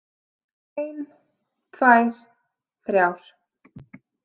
Ein, tvær, þrjár.